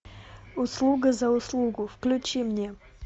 услуга за услугу включи мне